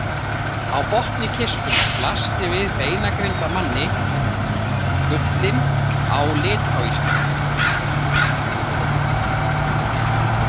Á botni kistunnar blasti við beinagrind af manni, gullin á litáíska.